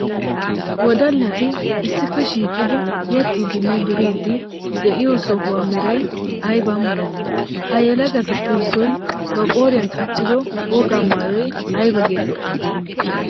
Wodallatti issippe shiiqiddi yexxidinne duridde de'iyo sohuwaa meray aybba malati? Ha yelagattuppe issoy ba qooriyan qachchido wogaa maayoy aybba geetteti?